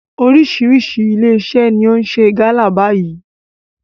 Oríṣiríṣi ilé iṣẹ́ ni ó ń ṣe gálà báyìí.